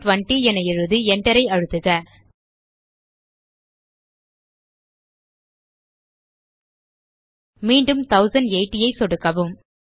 720 என எழுதி enter ஐ அழுத்துக மீண்டும் 1080 ஐ சொடுக்கவும்